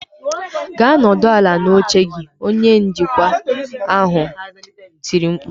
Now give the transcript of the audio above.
"Gaa nọdụ ala n'oche gị" Onye njikwa ahụ tiri mkpu